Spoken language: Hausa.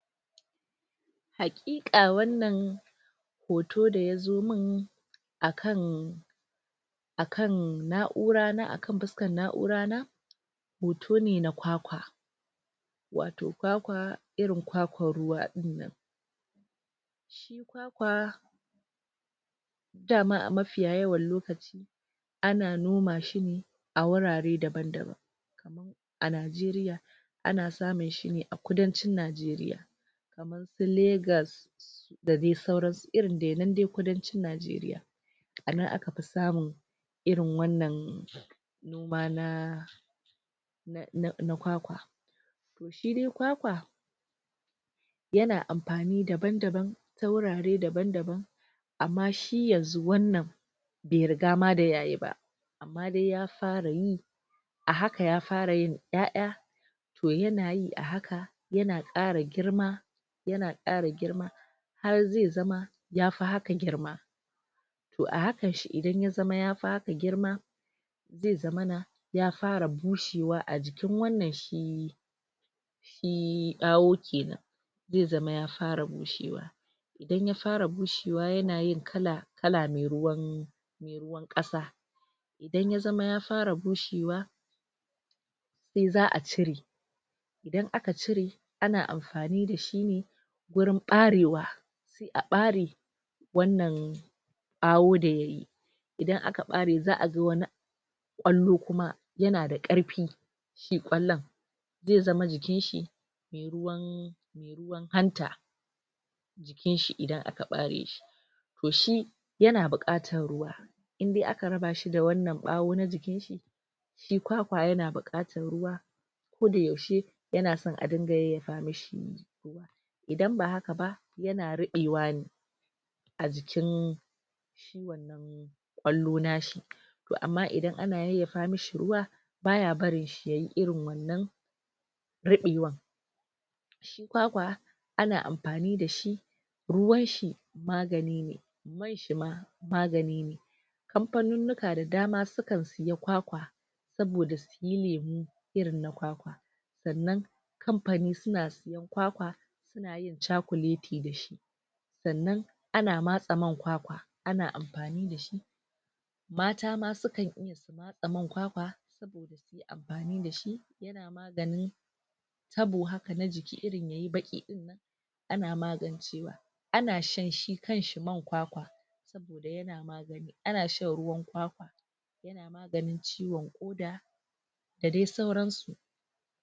Hakika wannan hoto da ya zo mun akan akan na'ura, akan fiscan na'ura na hoto ne na kwakwa wato kwakwa irin kwakwan ruwa dinnan kwa dama a mafiyayen lokaci ana noma shi ne a wurare daban daban a Najeriya ana samun shi ne a kudacin Najeriya su Lagos da dai sauran su dai irin dai kudancin Najeriya anan aka fi samun irin wannan gwana? na kwakwa shi dai kwakwa yana amfani daban daban ta wurare daban daban amma shi yanzu wannan bai riga ma da yayi ba amma dai ya fara yi a hakan ya fara yin iya'ya toh yana yi a haka yana kara girma yana kara girma har zai zama ya fi haka girma toh a hakan shi idan ya zama ya fi haka girma zai zamana ya fara bushewa a jikin wannan shi shi bawu kenan zai zama ya fara bushewa idan ya fara bushewa yana yin kala kala mai ruwan kasa idan ya zama ya fara bushewa in za'a cire idan aka cire ana amfani da shi ne wurin barewa a bare wannan bawu da yayi idan aka bare za'a zo wani kwallo kuma, yana da karfi ki kwallaon zai zama jikin shi ruwan ruwan hanta kinshi idan aka bare shi toh shi yana bukatan ruwa in dai aka raba sa da wannan bawun na jikin shi shi kwakwa yana bukatan ruwa ko da yaushe, yana so adinga yayyafa mishi idan ba haka ba, yana rubewa ne a jikin kwallo nashi amma idan ana yayyafa mishi ruwa baya barin shi yayi irin wannan rubewa kwakwa ana amfani da shi ruwan shi magani ne ruwan shi ma magani ne kamfanunowa da dama sukan siya kwakwa saboda su yi lemu irin na kwakwa tsannan kanfani suna sayan kwakwa na yin chakuleti da shi tsannan ana masa man kwakwa ana amfani da shi mata ma sukan iya man kwakwa amfani da shi da ni tabo haka na jiki, irin yayi baki in nan ana magancewa ana shan shi kansi man kwakwa ana shan ruwan kwakwa domin ciwon koda da dai sauran su